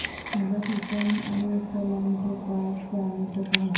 حضرت حسین علیہ السلام کے پاس جانے کو کہا